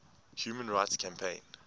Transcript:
human rights campaign